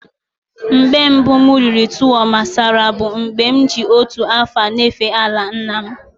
Mgbe mbu m riri tuwo masara bu mgbe m ji otu afo n'efe ala nna m.